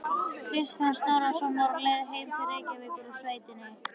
Kristján Snorrason var á leið heim til Reykjavíkur úr sveitinni.